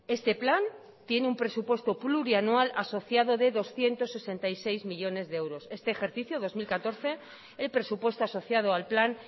este plan tiene un presupuesto plurianual asociado de doscientos sesenta y seis millónes de euros este ejercicio dos mil catorce el presupuesto asociado al plan